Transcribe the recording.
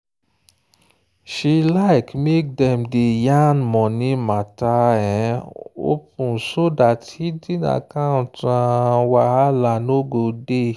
she like make dem day yan money matter open so that hidden account wahala no go dey.